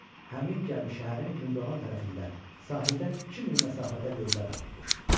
Həmin gəmi şəhərin gündoğan tərəfində sahildən iki mil məsafədə lövbər atıbmış.